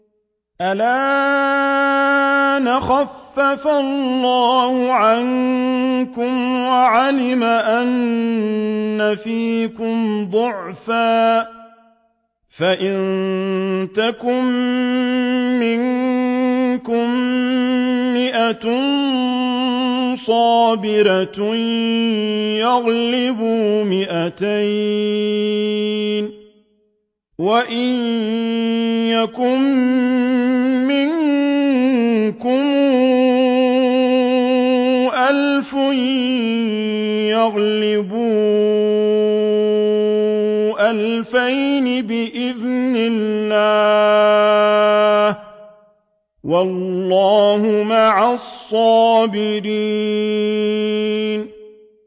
الْآنَ خَفَّفَ اللَّهُ عَنكُمْ وَعَلِمَ أَنَّ فِيكُمْ ضَعْفًا ۚ فَإِن يَكُن مِّنكُم مِّائَةٌ صَابِرَةٌ يَغْلِبُوا مِائَتَيْنِ ۚ وَإِن يَكُن مِّنكُمْ أَلْفٌ يَغْلِبُوا أَلْفَيْنِ بِإِذْنِ اللَّهِ ۗ وَاللَّهُ مَعَ الصَّابِرِينَ